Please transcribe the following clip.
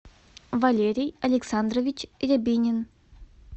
валерий александрович рябинин